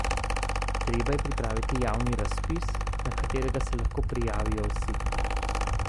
Treba je pripraviti javni razpis, na katerega se lahko prijavijo vsi.